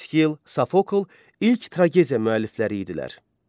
Eskil, Safokl ilk tragediya müəllifləri idilər.